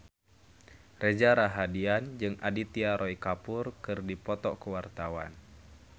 Reza Rahardian jeung Aditya Roy Kapoor keur dipoto ku wartawan